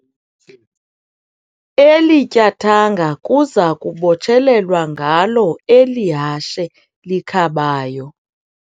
Eli tyathanga kuza kubotshelelwa ngalo eli hashe likhabayo.